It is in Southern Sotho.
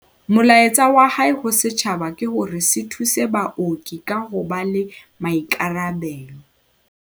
Molaetsa wa hae ho setjhaba ke hore se thuse baoki ka ho ba le maikarabelo.